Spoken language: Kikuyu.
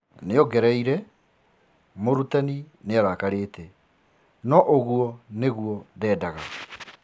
Niongeriire:Murutani niarakarite no ugũo nĩguo ndĩĩndaga.